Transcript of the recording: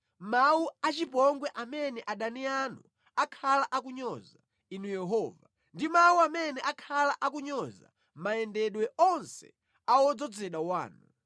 mawu achipongwe amene adani anu akhala akunyoza, Inu Yehova, ndi mawu amene akhala akunyoza mayendedwe onse a wodzozedwa wanu.